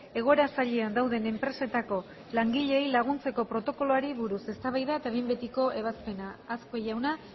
egoera zailean dauden enpresetako langileei laguntzeko protokoloari buruz eztabaida eta behin betiko ebazpena azkue jauna